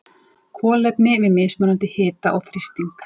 Kolefni við mismunandi hita og þrýsting.